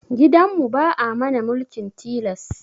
Gidan mu ba'a mana mulkin tilas